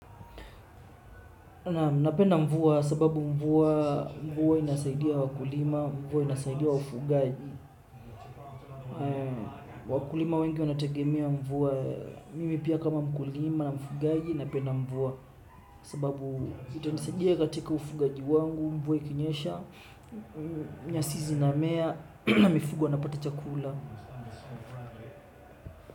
Napenda mvua sababu mvua inasaidia wakulima, mvua inasaidia wafugaji. Wakulima wengi wanategemea mvua, mimi pia kama mkulima na mfugaji napenda mvua. Sababu itanisaidia katika ufugaji wangu, mvua ikinyesha, nyasi zinamea, na mifugo wanapata chakula.